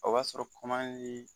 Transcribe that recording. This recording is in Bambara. O b'a sɔrɔ kɔman ye